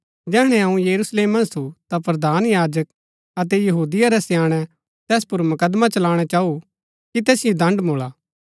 जैहणै अऊँ यरूशलेम मन्ज थु ता प्रधान याजक अतै यहूदिये रै स्याणै तैस पुर मुकदमा चलाणा चाऊ कि तैसिओ दण्ड़ मूळा